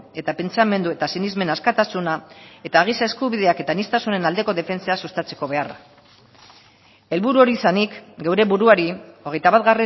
eta pentsamendu eta sinesmen askatasuna eta giza eskubideak eta aniztasunen aldeko defentsa sustatzeko beharra helburu hori izanik geure buruari hogeita bat